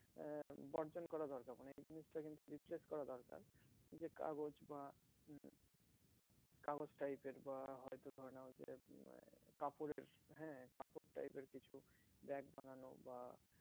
আহ বর্জন করা দরকার মানে এই জিনিস তা কিন্তু replace করা দরকার যে কাগজ বা হম কাগজ type এর বা হয়তো ধরানো হয় যে কাপড়ের হ্যাঁ কাপড় type কিছু bag বানানো বা